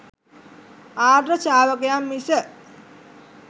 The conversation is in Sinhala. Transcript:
ආර්ය ශ්‍රාවකයන් මිස